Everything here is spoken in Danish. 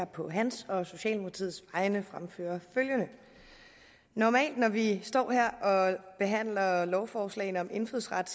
på hans og socialdemokratiets vegne fremføre følgende normalt når vi står her og behandler lovforslagene om indfødsret